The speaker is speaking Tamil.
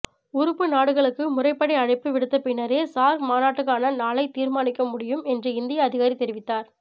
உறுப்பு நாடுகளுக்கு முறைப்படி அழைப்பு விடுத்த பின்னரே சார்க் மாநாட்டுக்கான நாளைத் தீர்மானிக்க முடியும் என்றும் இந்திய அதிகாரி தெரிவித்தார்